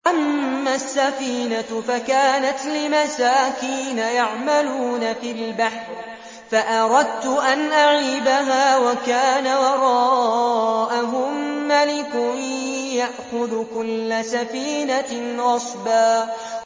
أَمَّا السَّفِينَةُ فَكَانَتْ لِمَسَاكِينَ يَعْمَلُونَ فِي الْبَحْرِ فَأَرَدتُّ أَنْ أَعِيبَهَا وَكَانَ وَرَاءَهُم مَّلِكٌ يَأْخُذُ كُلَّ سَفِينَةٍ غَصْبًا